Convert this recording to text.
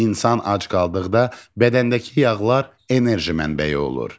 İnsan ac qaldıqda bədəndəki yağlar enerji mənbəyi olur.